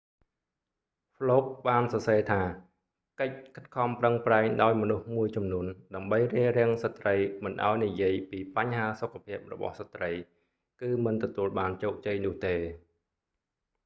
ហ្លូក fluke បានសរសេរថា កិច្ចខិតខំប្រឹងប្រែងដោយមនុស្សមួយចំនួនដើម្បីរារាំងស្ដ្រីមិនឲ្យនិយាយពីបញ្ហាសុខភាពរបស់ស្រ្តី គឺមិនទទួលបានជោគជ័យនោះទេ